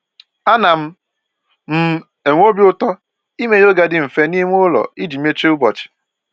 Ana m m enwe obi ụtọ ime yoga dị mfe n'ime ụlọ iji mechie ụbọchị